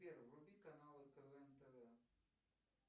сбер вруби канал нтв тв